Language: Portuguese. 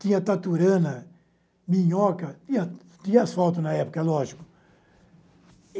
Tinha taturana, minhoca, tinha tinha asfalto na época, lógico.